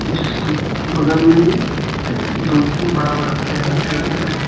जिसके बगल में ही दो तीन बड़ा बड़ा पेड़ दिखाई दे रहा है।